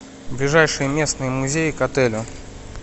ближайший местный музей к отелю